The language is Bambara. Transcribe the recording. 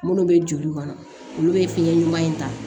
Minnu bɛ joli kɔnɔ olu bɛ fiɲɛ ɲuman in ta